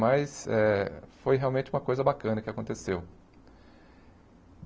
Mas eh foi realmente uma coisa bacana que aconteceu.